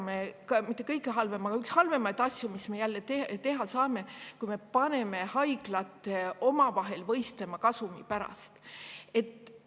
Üks halvemaid asju, mis me teha saame, on see, et me paneme haiglad omavahel kasumi pärast võistlema.